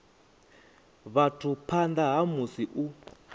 vhathu phanḓa ha musi u